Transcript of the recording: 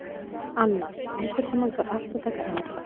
Annas, einhvern tímann þarf allt að taka enda.